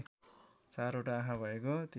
चारवटा आँखा भएको